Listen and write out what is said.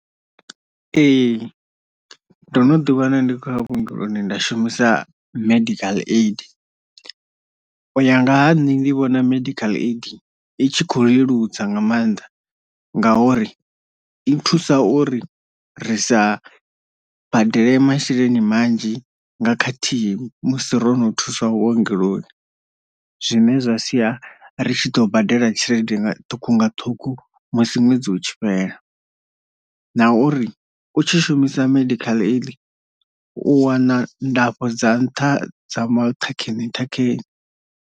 Ee ndo no ḓi wana ndi khou ya vhuongeloni nda shumisa medical aid, u ya nga ha nṋe ndi vhona medical aid i tshi kho leludza nga maanḓa ngauri i thusa uri risa badele masheleni manzhi nga khathihi musi ro no thuswa vhuongeloni zwine zwa sia ri tshi ḓo badela tshelede ṱhukhu nga ṱhungu musi ṅwedzi utshi fhela, na uri u tshi shumisa medical aid u wana ndafho dza nṱha dza maṱhakheni ṱhakheni.